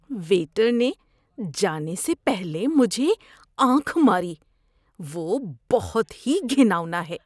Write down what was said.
Waiter نے جانے سے پہلے مجھے آنکھ ماری۔ وہ بہت ہی گھناؤنا ہے۔